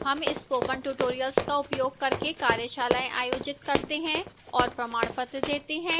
हम spoken tutorial का उपयोग करके कार्यशालाएँ आयोजित करते हैं और प्रमाणपत्र देती है